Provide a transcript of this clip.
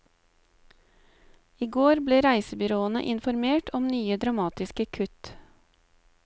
I går ble reisebyråene informert om nye dramatiske kutt.